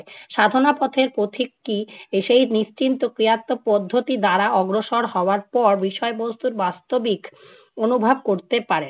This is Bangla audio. সাধনা পথের পথিকটি এসেই নিশ্চিন্ত ক্রিয়াত্মক পদ্ধতি দ্বারা অগ্রসর হওয়ার পর, বিষয়বস্তুর বাস্তবিক অনুভব করতে পারেন।